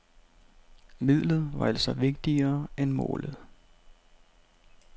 Midlet var altså vigtigere end målet.